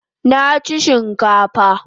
Nachi chinkafa